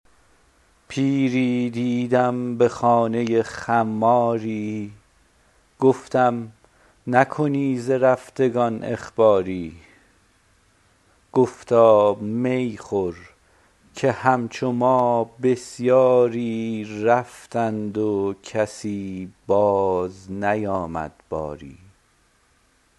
پیری دیدم به خانه خماری گفتم نکنی ز رفتگان اخباری گفتا می خور که همچو ما بسیاری رفتند و کسی بازنیامد باری